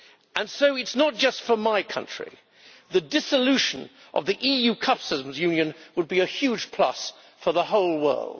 And so it is not just for my country the dissolution of the EU customs union would be a huge plus for the whole world.